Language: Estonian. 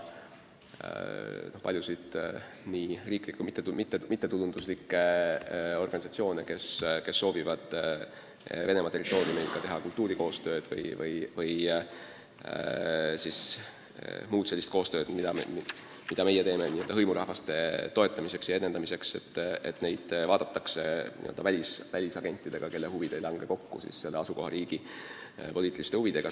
Paljusid riiklikke ja mittetulundusorganisatsioone, kes soovivad Venemaa territooriumil teha kultuurikoostööd või muud sellist koostööd, mida me teeme hõimurahvaste toetamiseks, peetakse n-ö välisagentideks, kelle huvid ei lange kokku asukohariigi poliitiliste huvidega.